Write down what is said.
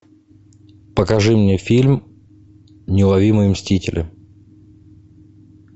покажи мне фильм неуловимые мстители